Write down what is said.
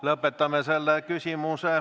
Lihtne!